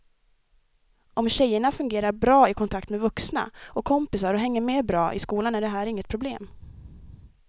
Om tjejerna fungerar bra i kontakt med vuxna och kompisar och hänger med bra i skolan är det här inget problem.